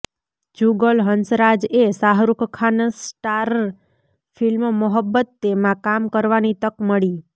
જુગલ હંસરાજ એ Shahrukh Khan starrer film Mohabbatein માં કામ કરવાની તક મળી